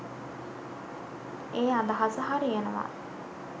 ඒ අදහස හරි යනවා